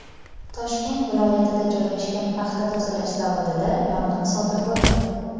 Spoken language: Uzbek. Toshkent viloyatida joylashgan paxta tozalash zavodida yong‘in sodir bo‘ldi.